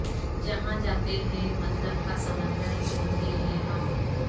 جہاں جاتے ہیں مطلب کا سمندر ڈھونڈتے ہیں ہم